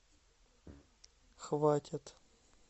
хватит